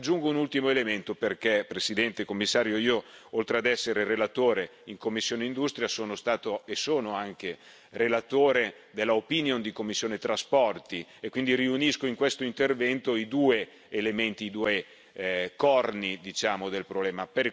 Aggiungo un ultimo elemento perché, Presidente, Commissario, oltre ad essere relatore in commissione ITRE sono stato, e sono anche, relatore per parere della commissione TRAN e quindi riunisco in questo intervento i due elementi, i due corni del problema.